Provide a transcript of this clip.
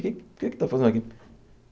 O que o que é que está fazendo aqui?